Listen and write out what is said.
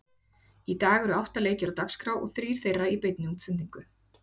Í dag eru átta leikir á dagskrá og eru þrír þeirra í beinni útsendingu.